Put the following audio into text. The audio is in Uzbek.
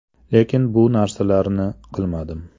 Lekin bu narsalarni qilmadim.